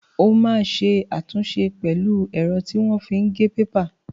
O máa ṣe àtúnṣe pẹ̀lú ẹ̀rọ tí wọ́n fi ń gé pépà.